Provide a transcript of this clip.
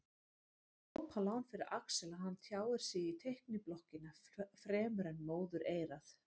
Glópalán fyrir Axel að hann tjáir sig í teikniblokkina fremur en móðureyrað.